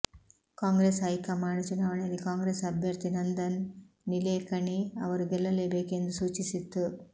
Congress high command ಚುನಾವಣೆಯಲ್ಲಿ ಕಾಂಗ್ರೆಸ್ ಅಭ್ಯರ್ಥಿ ನಂದನ್ ನಿಲೇಕಣಿ ಅವರು ಗೆಲ್ಲಲೇಬೇಕು ಎಂದು ಸೂಚಿಸಿತ್ತು